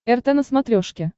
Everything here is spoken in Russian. рт на смотрешке